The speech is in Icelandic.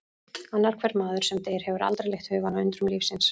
Annar hver maður sem deyr hefur aldrei leitt hugann að undrum lífsins